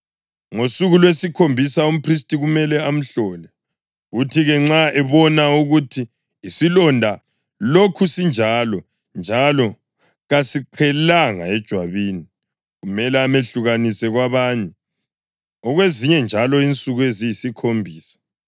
Ngosuku lwesikhombisa umphristi kumele amhlole, kuthi-ke nxa ebona ukuthi isilonda lokhu sinjalo njalo kasiqhelanga ejwabini, kumele amehlukanise kwabanye okwezinye njalo insuku eziyisikhombisa.